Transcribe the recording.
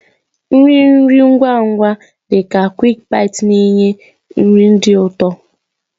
Nri nri ngwa ngwa dị ka "QuickBites" na-enye nri dị ụtọ.